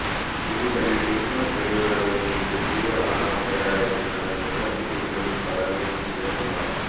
திண்டுக்கல்லில் கிருஸ்துமஸ் பெருவிழாவை முன்னிட்டு தூய வளனார் பேராலயத்தில் நடந்த சிறப்பு திருப்பலி படங்கள் வீசிவக்குமார்